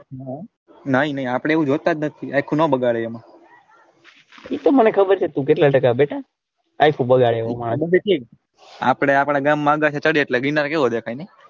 નાઈ ને આપડે એવું જોતા જ નથી ને આયખું ના બગાડાય એમાં એતો મને ખબર છે તું કેટલા ટકા બેટા આયખું બગાડે એવો આપડે આપડા ગામ માં